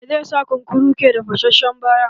Me za sa kunkuru ke da fashashen baya?